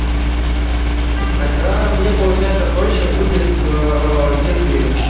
тогда мне получается проще будет аа если